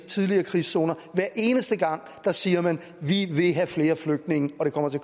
tidligere krigszoner hver eneste gang siger man vi vil have flere flygtninge og det kommer til